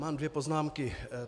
Mám dvě poznámky.